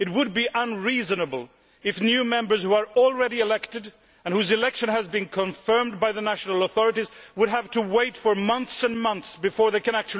It would be unreasonable if new Members who are already elected and whose election has been confirmed by the national authorities have to wait for months and months before they can actually start working.